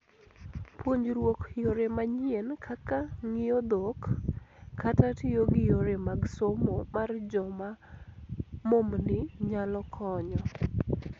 Puonjruok yore manyien kaka ngiyo dhok ,kata tiyo gi yore mag somo mar joma momni nyalo konyo.